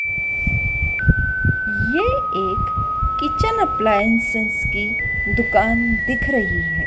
ये एक kitchen appliances की दुकान दिख रही है।